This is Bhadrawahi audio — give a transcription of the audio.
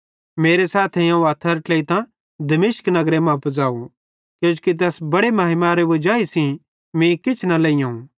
मेरे सैथेइं अवं हथ्थेरां ट्लेइतां दमिश्क नगर मां पुज़ाव किजोकि तैस बड़े महिमारे वजाई सेइं मीं किछ न लेइयोवं